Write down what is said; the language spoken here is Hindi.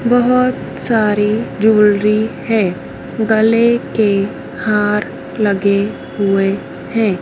बहोत सारी ज्वेलरी हैं गले के हार लगे हुए हैं।